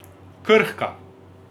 Krhka.